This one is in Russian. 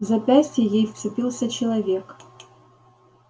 в запястье ей вцепился человек